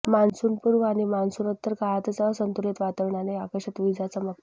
मान्सूनपूर्व आणि मान्सूनोत्तर काळातच असंतुलित वातावरणाने आकाशात विजा चमकतात